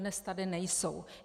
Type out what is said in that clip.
Dodnes tady nejsou.